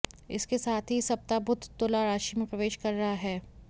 इसके साथ ही इस सप्ताह बुध तुला राशि में प्रवेश कर रहा है